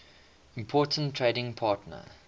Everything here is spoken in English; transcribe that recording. important trading partner